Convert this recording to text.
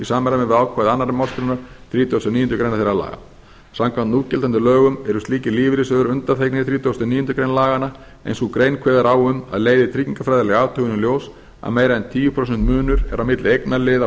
samræmi við ákvæði annarrar málsgreinar þrítugustu og níundu grein þeirra laga samkvæmt núgildandi lögum eru slíkir lífeyrissjóðir undanþegnir þrítugasta og níundu grein laganna en sú grein kveður á um að leiði tryggingafræðileg athugun í ljós að meira en tíu prósent munur er á milli eignaliða og